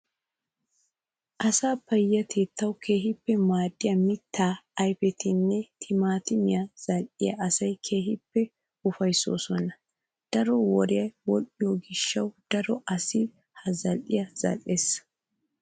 Asaa payyatettawu keehippe maadiyaa mittaa ayipetinne timatimeti zal"iyaa asaa keehippe ufayissoosona. Daro woriyaa wodhdhiyoo gishshawu daro asayi ha zal"iyaa zal"es.